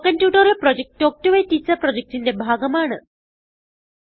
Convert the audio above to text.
spoken tutorial project talk to a teacher പ്രൊജക്റ്റിന്റെ ഭാഗമാണ്